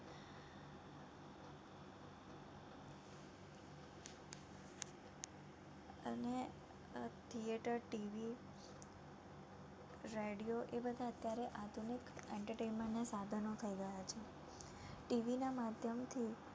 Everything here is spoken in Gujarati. અને આ theatreTV radio એ બધા અત્યારે આધુનિક entertainment ના સાધનો થઈ ગયા છે. TV ના માધ્યમથી